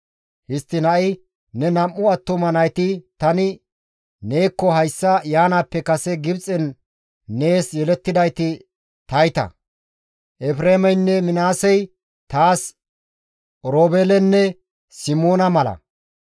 «Histtiin ha7i ne nam7u attuma nayti tani neekko hayssa yaanaappe kase Gibxen nees yelettidayti tayta; Efreemeynne Minaasey taas Oroobeelenne Simoona mala.